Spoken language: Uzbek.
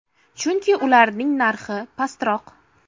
Chunki ularning narxi pastroq.